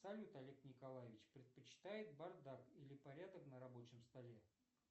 салют олег николаевич предпочитает бардак или порядок на рабочем столе